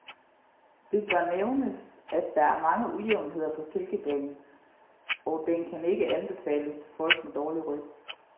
Det bør nævnes, at der er mange ujævnheder på kælkebanen, og den kan ikke anbefales til folk med dårlig ryg.